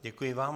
Děkuji vám.